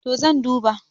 to zan duba